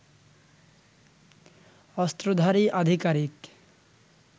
অস্ত্রধারী আধিকারিক